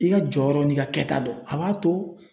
I ka jɔyɔrɔ n'i ka kɛta dɔn a b'a to,